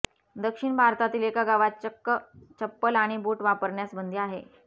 दक्षिण भारतातील एका गावात चक्क चप्पल आणि बूट वापरण्यास बंदी आहे